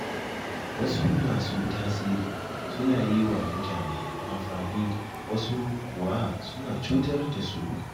Wasu masu tasiri suna yi wa mutane amfani, wasu kuwa suna cutar da su.